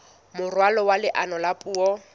moralo wa leano la puo